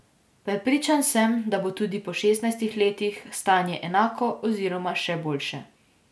Prepričan sem, da bo tudi po šestnajstih letih, stanje enako oziroma še boljše.